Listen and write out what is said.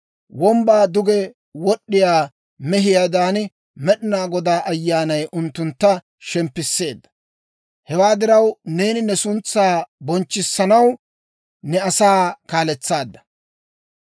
Wombbaa duge wod'd'iyaa mehiyaadan, Med'inaa Godaa Ayyaanay unttuntta shemppisseedda. Hewaadan neeni ne suntsaa bonchchissanaw ne asaa kaaletsaadda.